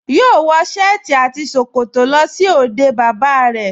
Yóò wọ sẹ́ẹ̀tì àti ṣòkòtò lọ sí òde bàbá rẹ̀